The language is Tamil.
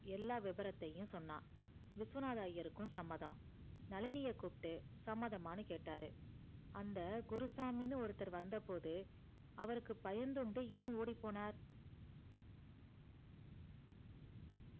எல்லாம் வேவரத்தியும் சொன்னா விஸ்வநாதர் ஐயருக்கும் சம்மதம் நழினியே கூப்பிட்டு சமதம்மா கேட்டாரு அந்த குருசாமி ஒருத்தர் வந்த போது அவருக்கு பயந்துண்டு ஏ ஓடி போனார்.